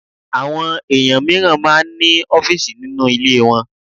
Àwọn èèyàn mìíràn máa ń ní ọfísì nínú ilé wọn